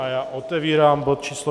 A já otevírám bod číslo